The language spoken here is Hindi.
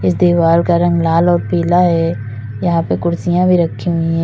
इस दीवार का रंग लाल और पीला है यहां पे कुर्सियां भी रखी हुई हैं।